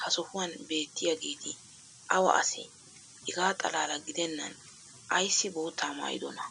ha sohuwan beettiyaageeti awa asee? hegaa xalaala gidennan ayssi boottaa maayidonaa?